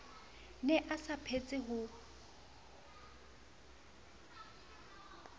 ne a sa phetse ho